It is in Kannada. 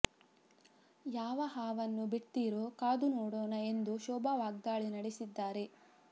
ಯಾವ ಹಾವನ್ನು ಬಿಡ್ತೀರೋ ಕಾದು ನೋಡೋಣ ಎಂದು ಶೋಭಾ ವಾಗ್ದಾಳಿ ನಡೆಸಿದ್ದಾರೆ